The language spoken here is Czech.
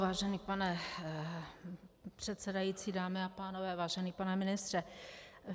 Vážený pane předsedající, dámy a pánové, vážený pane ministře.